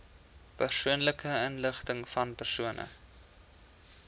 persoonlike inligtingvan persone